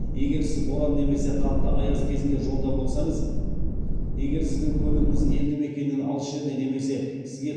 егер сіз боран немесе қатты аяз кезінде жолда болсаңыз егер сіздің көлігіңіз елді мекеннен алыс жерде немесе сізге